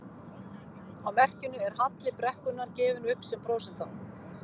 Á merkinu er halli brekkunnar gefinn upp sem prósenta.